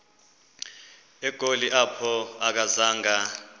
egoli apho akazanga